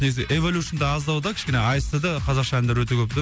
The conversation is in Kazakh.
негізі эволюшнда аздау да кішкене аст да қазақша әндер өте көп та